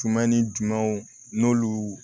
Jumɛn ni jumɛnw n'olu